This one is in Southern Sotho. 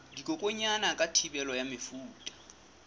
dikokwanyana ka thibelo ya mefuta